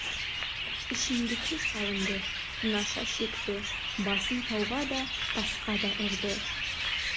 ішімдікке салынды наша шекті басын тауға да тасқа да ұрды